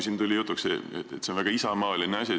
Siin tuli jutuks, et see on väga isamaaline eelnõu.